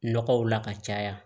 Nɔgɔw la ka caya